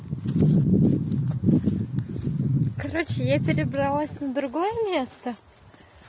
короче я перебралась на другое место